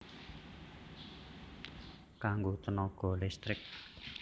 Kanggo tènaga listrik